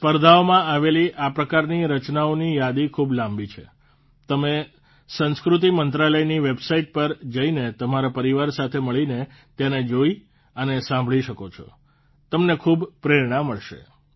સ્પર્ધાઓમાં આવેલી આ પ્રકારની રચનાઓની યાદી ખૂબ લાંબી છે તમે સંસ્કૃતિ મંત્રાલયની વેબસાઇટ પર જઇને તમારા પરિવાર સાથે મળીને તેને જોઇ અને સાંભળી શકો છો તમને ખૂબ પ્રેરણા મળશે